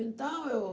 Então eu...